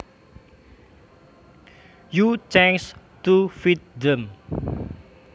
you change to fit them